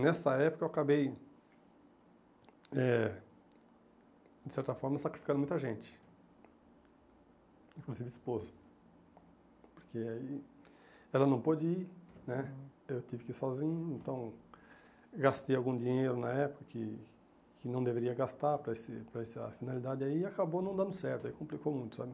Nessa época eu acabei, eh de certa forma, sacrificando muita gente, inclusive esposa, porque aí ela não pôde ir né, eu tive que ir sozinho, então gastei algum dinheiro na época que que não deveria gastar para esse para essa finalidade aí e acabou não dando certo, aí complicou muito, sabe?